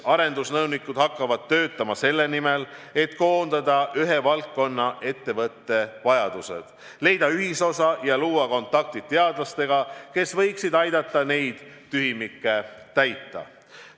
Arendusnõunikud hakkavad töötama selle nimel, et koondada ühe valdkonna ettevõtete vajadused, leida ühisosa ja luua kontaktid teadlastega, kes võiksid aidata neid tühimikke täita.